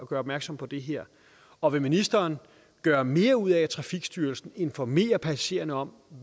gør opmærksom på det her og vil ministeren gøre mere ud af at trafikstyrelsen informerer passagererne om